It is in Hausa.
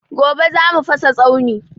Gobe za mu fasa tsauni